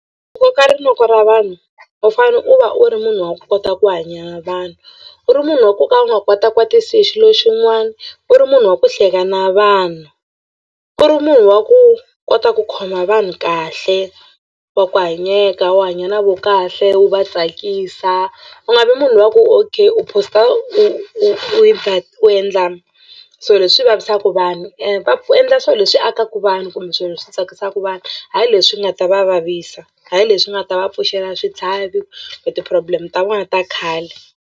Ku koka rinoko ra vanhu u fanele u va u ri munhu wa kota ku hanya na vanhu u ri munhu wa ku ka u nga kwatakwatisi hi xilo xin'wana u ri munhu wa ku hleka na vanhu u ri munhu wa ku kota ku khoma vanhu kahle wa ku hanyeka u hanya na vo kahle wu va tsakisa u nga vi munhu luya ku okay u post- a u u u u endla swilo leswi vavisaka vanhu ka ku endla swilo leswi akaka vanhu kumbe swirho swi tsakisaka vanhu hayi leswi nga ta va vavisa hayi leswi nga ta va pfuxela switlhavi kumbe ti-problem ta vona ta khale.